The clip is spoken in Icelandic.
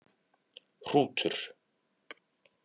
Hrútur